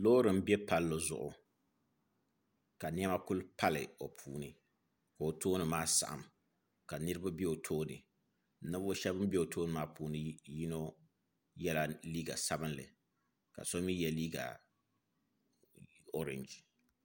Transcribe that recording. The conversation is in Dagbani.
Loori n bɛ palli zuɣu ka niɛma ku pali o puuni ka o tooni maa saɣam ka niraba bɛ o tooni ninvuɣu shab bin bɛ o tooni maa puuni yino yɛla liiga sabinli ka so mii yɛ liiga orɛnji